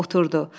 Oturdu.